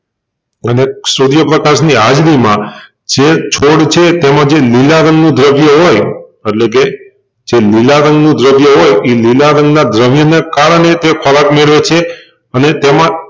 અને સુર્યપ્રકાશ ની હાજરીમાં જે છોડ છે તેમાં જે લીલા રંગનું દ્રવ્ય હોય એટલેકે જે લીલા રંગ નું દ્રવ્ય હોય ઈ લીલા રંગ ના દ્રવ્ય ને કારણે તે ખોરાક મેળવે છે અને તેમાં